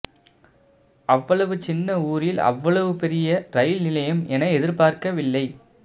அவ்வளவு சின்ன ஊரில் அவ்வளவு பெரிய ரயில் நிலையம் என எதிர்பார்க்கவில்லை